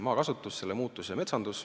Maakasutus, selle muutus ja metsandus.